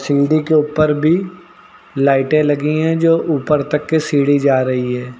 Building के ऊपर भी लाइटें लगी हैं जो ऊपर तक ये सीढ़ी जा रही है।